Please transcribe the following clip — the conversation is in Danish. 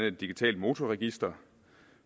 et digitalt motorregister